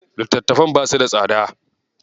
Littatafan basu da tsada.